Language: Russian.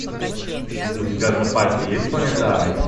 у тебя в запасе есть планета ай